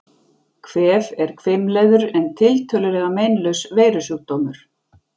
Kvef er hvimleiður en tiltölulega meinlaus veirusjúkdómur.